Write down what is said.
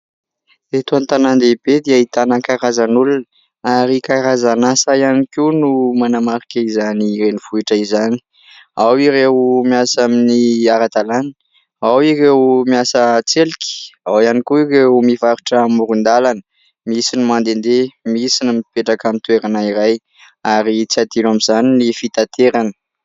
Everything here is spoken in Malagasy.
Eto an-tanàn-dehibe dia ahitana karazan'olona ary karazana asa ihany koa no manamarika izany renivohitra izany, ao ireo miasa amin'ny ara-dalàna, ao ireo miasa an-tselika, ao ihany koa ireo mivarotra amoron-dalana, misy ny mandendeha, misy ny mipetraka amin'ny toerana iray ary tsy adino amin'izany ny fitanterana.